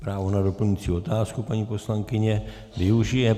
Právo na doplňující otázku, paní poslankyně, využije.